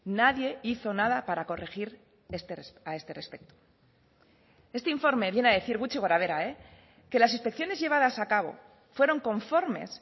nadie hizo nada para corregir a este respecto este informe viene a decir gutxi gora behera que las inspecciones llevadas a cabo fueron conformes